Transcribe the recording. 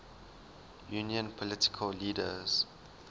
union political leaders